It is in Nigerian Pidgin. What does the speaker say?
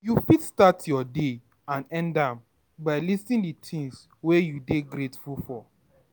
You fit start your day and end am by listing di things wey you dey grateful for